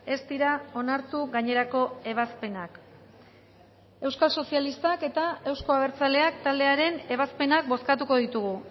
ez dira onartu gainerako ebazpenak euskal sozialistak eta euzko abertzaleak taldearen ebazpenak bozkatuko ditugu